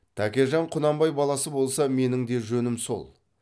тәкежан құнанбай баласы болса менің де жөнім сол